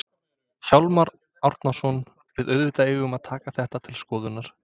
Hjálmar Árnason: Við auðvitað eigum að taka þetta til skoðunar?